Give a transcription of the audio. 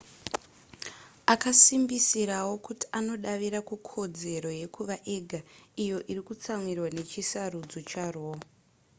akasimbisirawo kuti anodavira kukodzero yekuva ega iyo iri kutsamirwa nechisarudzo charoe